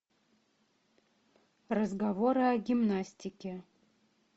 разговоры о гимнастике